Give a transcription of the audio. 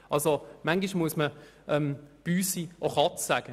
Bisweilen muss man «ds Büsi» Katze nennen.